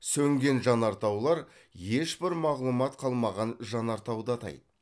сөнген жанартаулар ешбір мағлұмат қалмаған жанартауды атайды